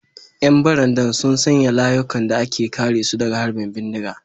‘Yan barandan sun sanya layukan da ke kare su daga harbin bindiga.